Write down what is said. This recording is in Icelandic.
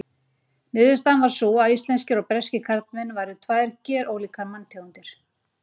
Niðurstaðan var sú að íslenskir og breskir karlmenn væru tvær gerólíkar manntegundir.